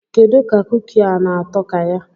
Kedu ka kuki a na-atọ ka ya?